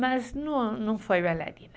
Mas não foi bailarina.